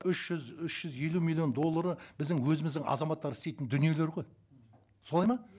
үш жүз үш жүз елу миллион доллары біздің өзіміздің азаматтар істейтін дүниелер ғой солай ма